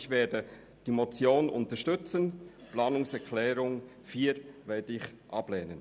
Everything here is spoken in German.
Ich werde somit die Motion unterstützen und die Planungserklärung 4 ablehnen.